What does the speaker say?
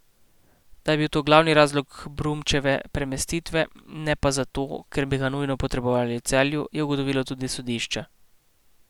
Da je bil to glavni razlog Brumčeve premestitve, ne pa zato, ker bi ga nujno potrebovali v Celju, je ugotovilo tudi sodišče.